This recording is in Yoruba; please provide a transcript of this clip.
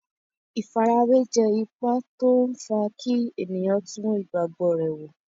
Ìfarawé jẹ́ ipa tó n fa kí ènìyàn tún ìgbàgbọ́ rẹ̀ wò